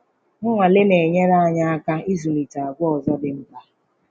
Nnwale na-enyere anyị aka ịzụlitekwa àgwà ọzọ dị mkpa